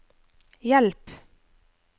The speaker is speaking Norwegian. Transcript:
hjelp